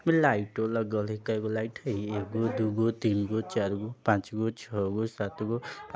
इमे लाइटो लगल हई | कैगो लाइट हई एगो दुगो तीनगो चारगो पाँचगो छौगो सातगो आ --